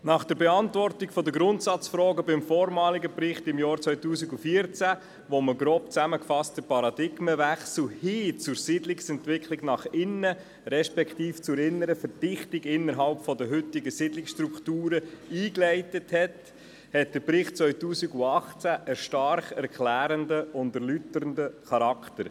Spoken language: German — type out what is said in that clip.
Nach der Beantwortung der Grundsatzfragen im Bericht 2014, in dem der Paradigmenwechsel hin zur Siedlungsentwicklung nach innen, beziehungsweise zur inneren Verdichtung innerhalb der heutigen Siedlungsstrukturen eingeleitet wurde, hat der Bericht 2018 einen stark erklärenden und erläuternden Charakter.